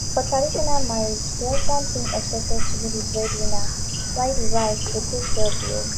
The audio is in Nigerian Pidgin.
for traditional marriage di husband being expected to be di breadwinner while di wife go take care of di home